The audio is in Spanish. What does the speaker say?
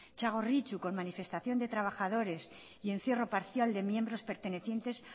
txagorritxu con manifestación de trabajadores y encierro parcial de miembros pertenecientes